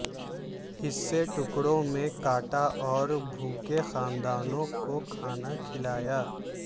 حصے ٹکڑوں میں کاٹا اور بھوکے خاندانوں کو کھانا کھلانا